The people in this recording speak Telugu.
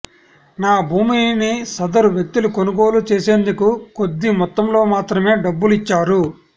నా భూమిని సదరు వ్యక్తులు కొనుగోలు చేసేందుకు కొద్ది మొత్తంలో మాత్రమే డబ్బులు ఇచ్చారు